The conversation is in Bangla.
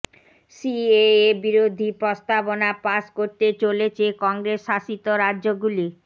সিএএ বিরোধী প্রস্তাবনা পাশ করতে চলেছে কংগ্রেস শাসিত রাজ্যগুলি